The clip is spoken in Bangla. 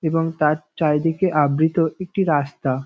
এবং তার চারিদিকে আবৃত একটি রাস্তা।